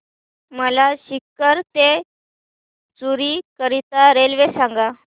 मला सीकर ते चुरु करीता रेल्वे सांगा